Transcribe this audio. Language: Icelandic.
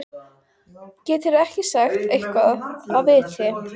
Geturðu ekki sagt eitthvað af viti?